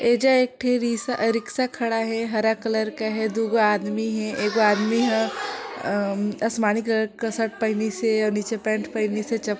एजा एक ठी रिशा रिक्शा खड़ा है हरा कलर का है दू आदमी हे एक आदमी ह अम आसमानी कलर का शर्ट पहनीसे और नीचे पैन्ट पहनी से चप--